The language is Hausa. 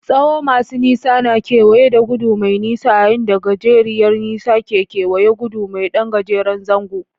Tsawo masu nisa na kewaye ta gudu mai nisa, yayin da gajeriyar nisa ke kewaye gudu mai ɗan gajeren zango.